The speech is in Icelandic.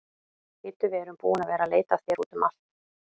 Bíddu, við erum búin að vera að leita að þér úti um allt.